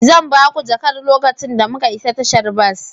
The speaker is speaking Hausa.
Zan ba ku jakar lokacin da muka isa tashar bas.